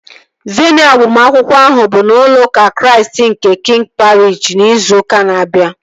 Veenụ agbamakwụkwọ ahụ bụ n'ụlọ ụka Chraist nke Kiing Pariish, ịzụ ụka na-abia